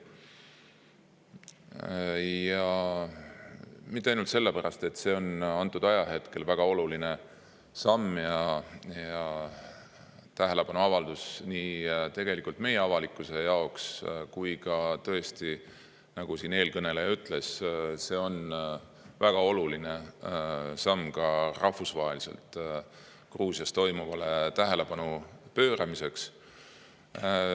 Ja mitte ainult sellepärast, et see on antud ajahetkel väga oluline samm ja tähelepanuavaldus meie avalikkuse jaoks, aga ka tõesti, nagu eelkõneleja ütles, see on väga oluline samm ka rahvusvaheliselt Gruusias toimuvale tähelepanu pööramiseks.